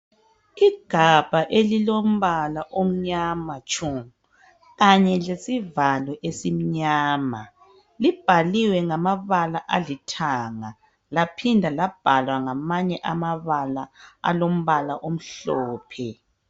Igabha elilombala omnyama tshu kanye lesivalo esimnyama libhaliwe ngamabala alithanga laphinda labhalwa ngamanye amabala alombala omhlophe.